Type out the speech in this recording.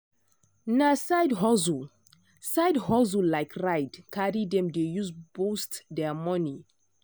na side hustle side hustle like ride carry dem dey use boost their money.